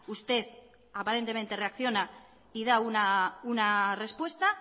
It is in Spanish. usted aparentemente reacciona y da una respuesta